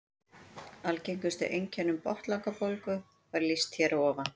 Algengustu einkennum botnlangabólgu var lýst hér að ofan.